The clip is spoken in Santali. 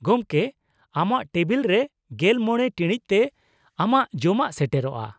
ᱜᱚᱝᱠᱮ, ᱟᱢᱟᱜ ᱴᱮᱵᱤᱞ ᱨᱮ ᱑᱕ ᱴᱤᱲᱤᱡ ᱛᱮ ᱟᱢᱟᱜ ᱡᱚᱢᱟᱜ ᱥᱮᱴᱮᱨᱚᱜᱼᱟ ᱾